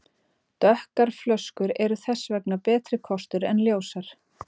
Dökkar flöskur eru þess vegna betri kostur en ljósar.